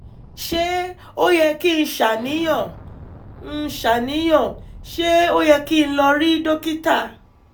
ṣé ó yẹ kí n ṣàníyàn? n ṣàníyàn? ṣé ó yẹ kí n lọ rí dókítà?